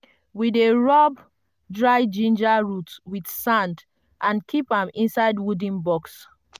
we dey rub dry ginger root with sand and keep am inside wooden box.